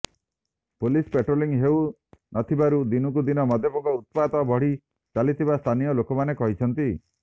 police patrolling ହେଉ ନଥିବାରୁ ଦିନକୁ ଦିନ ମଦ୍ୟପଙ୍କ ଉତ୍ପାତ ବଢ଼ି ଚାଲିଥିବା ସ୍ଥାନୀୟ ଲୋକମାନେ କହିଛନ୍ତି